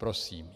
Prosím.